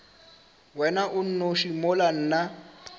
wena o nnoši mola nna